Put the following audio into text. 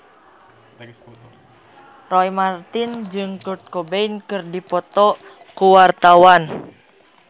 Roy Marten jeung Kurt Cobain keur dipoto ku wartawan